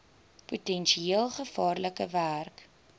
potensieel gevaarlike werk